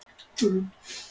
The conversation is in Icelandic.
Ey, spilaðu tónlist.